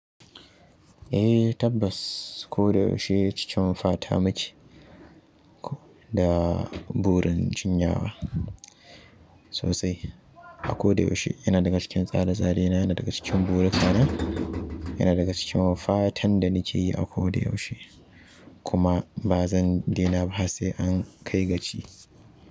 Eh tabbas ko da yaushe cikin fata muke da burin jinyawa sosai. Akoda yaushe yana daga cikin tsare-tsare na, yana daga cikin burikana, yana daga cikin fatan da nakeyi akoda yaushe kuma ba zan daina ba har sai ankai gaci.